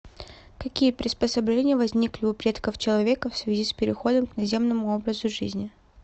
какие приспособления возникли у предков человека в связи с переходом к наземному образу жизни